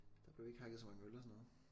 Der blev ikke hakket så mange øl og sådan noget